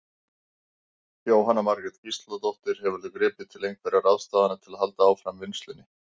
Jóhanna Margrét Gísladóttir: Hefurðu gripið til einhverja ráðstafana til að halda áfram vinnslunni?